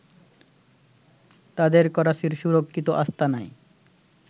তাদের করাচির সুরক্ষিত আস্তানায়